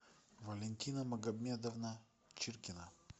валентина магомедовна чиркина